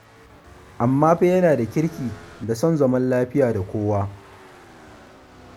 amma kuma yana da kirki da son zaman lafiya da kowa.